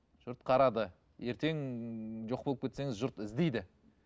жұрт қарады ертең жоқ болып кетсеңіз жұрт іздейді